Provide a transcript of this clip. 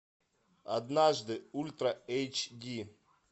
однажды ультра эйч ди